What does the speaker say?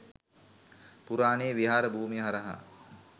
පුරාණයේ විහාර භූමිය හරහා